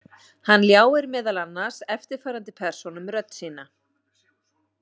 Hann ljáir meðal annars eftirfarandi persónum rödd sína.